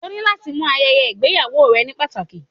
O ni lati mu ayeye igbeyawo rẹ ni pataki